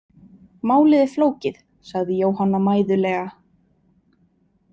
Málið er flókið, sagði Jóhanna mæðulega.